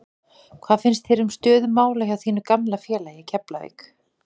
Hvað finnst þér um stöðu mála hjá þínu gamla félagi Keflavík?